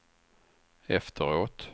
efteråt